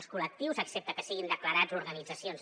els col·lectius excepte que siguin declarats organitzacions